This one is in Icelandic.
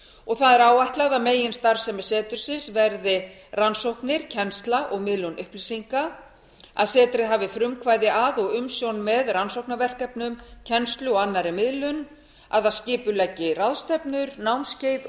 og áætlað er að meginstarfsemi setursins verði rannsóknir kennsla og miðlun upplýsinga að setrið hafi frumkvæði að og umsjón með rannsóknaverkefnum kennslu og annarri miðlun að það skipuleggi ráðstefnur námskeið og